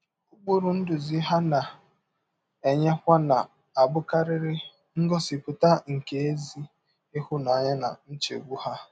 Ụkpụrụ ndụzi ha na - enyekwa na - abụkarị ngọsipụta nke ezi ịhụnanya na nchegbụ ha.